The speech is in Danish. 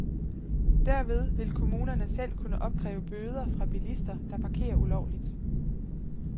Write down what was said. Derved vil kommunerne selv kunne opkræve bøder fra bilister, der parkerer ulovligt.